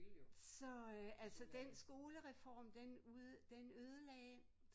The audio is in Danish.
Så øh altså den skolereform den ud den ødelagde